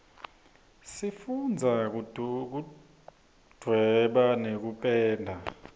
sifundza kuduweba nekupenda